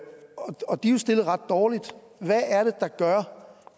stillet ret dårligt hvad er det der gør